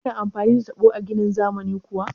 Ana amfani da taɓo a ginin zamani kuwa?